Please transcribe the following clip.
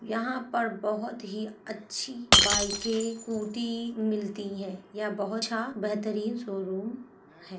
यहाँ पर बहोत ही अच्छी बाइकें कूटी मिलती हैं। यह बहुत अच्छा बेहतरीन शोरूम है।